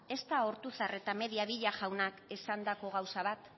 ez da ortuzar eta mediavilla jaunak esandako gauza bat